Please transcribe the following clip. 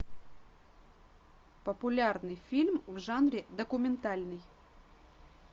популярный фильм в жанре документальный